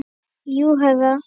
Jú, herra.